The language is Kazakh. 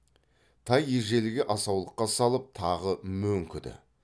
тай ежелгі асаулыққа салып тағы мөңкіді